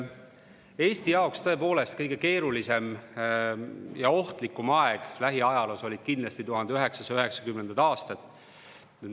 Eesti jaoks oli tõepoolest kõige keerulisem ja ohtlikum aeg lähiajaloos kindlasti 1990. aastatel.